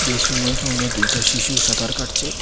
এই সুইমিং পুঙ্গে দুইটা শিশু সাঁতার কাটছে।